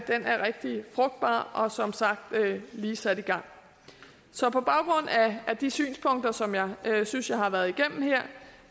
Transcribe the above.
rigtig frugtbar og som sagt lige sat i gang så på baggrund af de synspunkter som jeg synes jeg har været igennem her